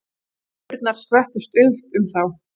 Öldurnar skvettust upp um þá.